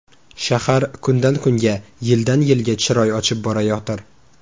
Shahar kundan-kunga, yildan-yilga chiroy ochib borayotir.